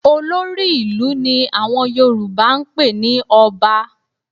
Olórí ìlú ni àwọn Yorùbá ń pè ní Ọba